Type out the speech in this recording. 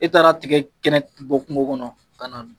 I taara tiga kɛnɛ bɔ kungo kɔnɔ ka na